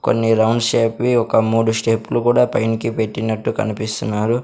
కొన్ని round shape వి ఒక మూడు స్టెప్ లు కుడా పైనకి పెట్టినట్టు కనిపిస్తున్నారు.